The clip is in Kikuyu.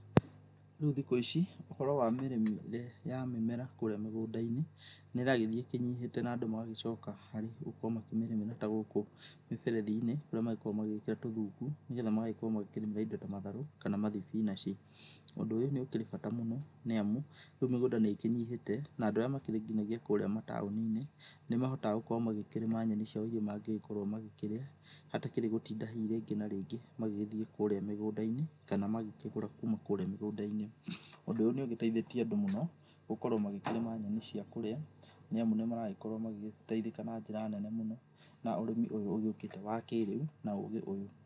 Rĩu thikũ ici, ũhoro wa mĩrĩre ya mĩmera kũrĩa mĩgũndainĩ nĩrathii ĩkĩnyĩhĩte na andũ magĩcoka magakorwo magĩkĩrĩmĩra ta gũkũ mĩberethinĩ kũrĩa makoragwo magĩkĩra tũthungu nĩgethe makorwo makĩrĩmĩra indo ta matharũ kana mathibinachi, ũndũ ũyũ nĩũkĩrĩ bara mũno nĩamu rĩũ mĩgũnda nĩkĩnyihĩhe na andũ arĩa makĩrĩ nginyagia kũria mataũninĩ nĩmahotaga makorwo magĩkĩrĩma nyeni mangĩgĩkorwo magĩkĩrĩa itegũtinda hihi rĩngĩ na rĩngĩ magĩgĩthi kũrĩa mĩgũndainĩ kana magĩkĩgũra kũrĩa mĩgũndainĩ, ũndũ ũyũ nĩ ũgĩteithĩthie andũ mũno gũkorwo magĩkĩrĩma nyeni cia kũrĩa, nĩamu nĩmaragĩkorwo magĩteithĩka na njĩra nene na ũrĩmi ũkĩte wa kĩrĩũ wa ũgĩ ũyũ.